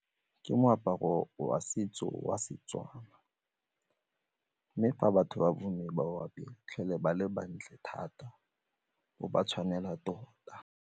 Ke moaparo wa setso wa Setswana mme fa batho ba bo mme ba o apere ba fitlhele ba le batle thata o ba tshwanela tota.